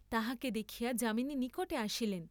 তাহাকে দেখিয়া যামিনী নিকটে আসিলেন।